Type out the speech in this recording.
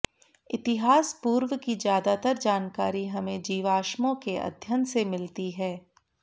इतिहास पूर्व की ज्यादातर जानकारी हमें जीवाश्मों के अध्ययन से मिलती है